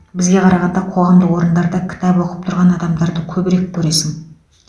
бізге қарағанда қоғамдық орындарда кітап оқып тұрған адамдарды көбірек көресің